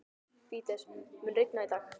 Fídes, mun rigna í dag?